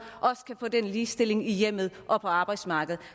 også kan få den ligestilling i hjemmet og på arbejdsmarkedet